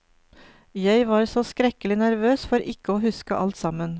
Jeg var så skrekkelig nervøs for ikke å huske alt sammen.